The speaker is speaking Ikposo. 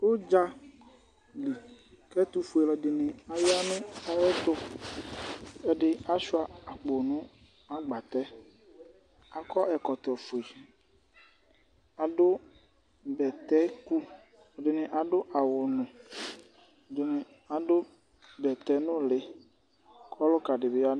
Ʋdza li kʋ ɛtʋfue alʋɛdɩnɩ aya nʋ ayɛtʋ Ɛdɩ asʋɩa akpo nʋ agbatɛ, akɔ ɛkvɔtɔfue, adʋ bɛtɛku Ɛdɩnɩ adʋ awʋnʋ, ɛdɩnɩ adʋ bɛtɛnʋlɩ kʋ ɔlʋka dɩ bɩ ya nʋ